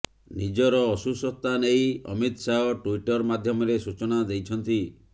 ନିଜର ଅସୁସ୍ଥତା ନେଇ ଅମିତ ଶାହ ଟୁଇଟର ମାଧ୍ୟମରେ ସୂଚନା ଦେଇଛନ୍ତି